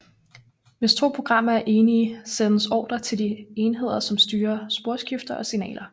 Hvis 2 programmer er enige sendes ordre til de enheder som styrer sporskifter og signaler